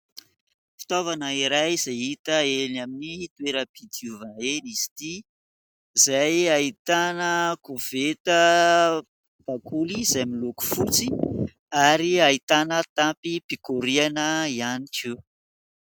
Fitaovana iray izay hita eny amin'ny toeram-pidiovana eny izy ity ; izay ahitana koveta bakoly izay miloko fotsy, ary ahitana tampim-pikoriana ihany koa.